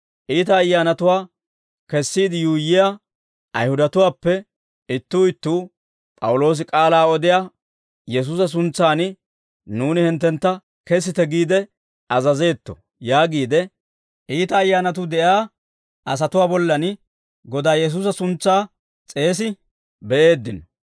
Iita ayyaanatuwaa kesiide yuuyyiyaa Ayihudatuwaappe ittuu ittuu, «P'awuloosi k'aalaa odiyaa Yesuusa suntsan nuuni hinttentta kesite giide azazeetto» yaagiide, iita ayyaanatuu de'iyaa asatuwaa bollan Godaa Yesuusa suntsaa s'eesi be'eeddino.